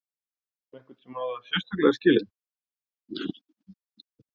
Veist þú um einhvern sem á það sérstaklega skilið?